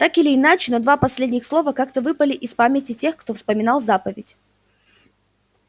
так или иначе но два последних слова как-то выпали из памяти тех кто вспоминал заповедь